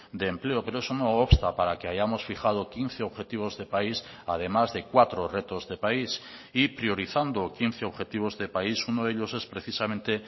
de empleo pero eso no obsta para que hayamos fijado quince objetivos de país además de cuatro retos de país y priorizando quince objetivos de país uno de ellos es precisamente